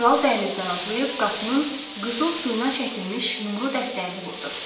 Kral dəhlizdən atlayıb qapının qızıl suyuna çəkilmiş yumru dəstəyini vurdu.